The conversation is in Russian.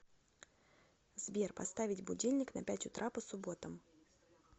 сбер поставить будильник на пять утра по субботам